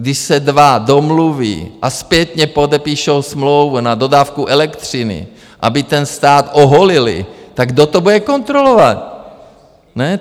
Když se dva domluví a zpětně podepíšou smlouvu na dodávku elektřiny, aby ten stát oholili, tak kdo to bude kontrolovat?